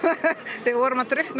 þegar við vorum að drukkna